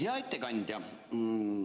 Hea ettekandja!